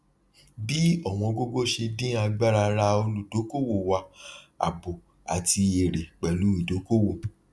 bí ọwọn gogo ṣe dín agbára rà olùdókòwò wá àbò àti èrè pẹlú ìdókòwò